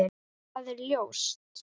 Það er ljóst.